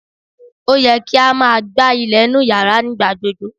O yẹ ki a máa gbá ilẹ̀ inú yàrá ní ìgbà gbogbo